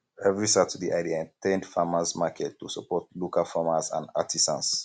every saturday i dey at ten d farmers market to support local farmers and artisans